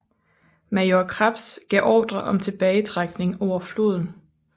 Major Krebs gav ordre om tilbagetrækning over floden